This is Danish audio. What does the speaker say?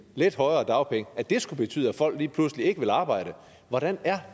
lidt højere dagpenge så skulle det betyde at folk lige pludselig ikke vil arbejde hvordan er